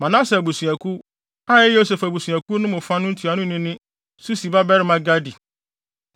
Manase abusuakuw (a ɛyɛ Yosef abusuakuw no mu fa) no ntuanoni ne Susi babarima Gadi;